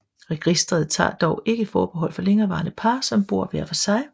Registret tager dog ikke forbehold for længerevarende par som bor hver for sig